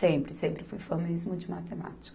Sempre, sempre fui fã mesmo de matemática.